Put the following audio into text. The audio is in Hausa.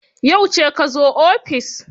Yauce ka zo ofis?